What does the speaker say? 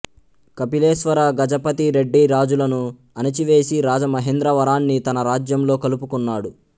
కపిలేశ్వర గజపతి రెడ్డిరాజులను అణచివేసి రాజమహేంద్రవరాన్ని తన రాజ్యంలో కలుపుకున్నాడు